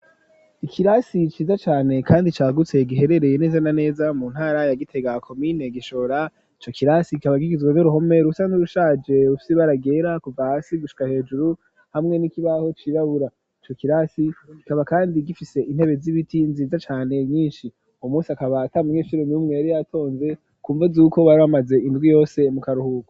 Ikirasi iciza cane, kandi cagutsee giherereye nezana neza mu ntara yagite gakomine gishora co kilasi gikaba gigizwa n uruhome rusa nt urushaje upsi baragera ku vasi gushka hejuru hamwe n'ikibaho cirabura co kirasi gikaba, kandi gifise intebe z'ibiti nziza cane nyinshi umu musi akabata mu nweshuro mirumwe yari ato mve kumva zuko bari bamaze indwi yose mu karuhuka.